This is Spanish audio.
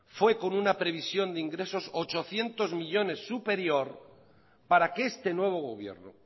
fue con una previsión de ingresos ochocientos millónes superior para que este nuevo gobierno